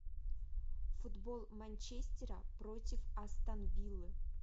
футбол манчестера против астон виллы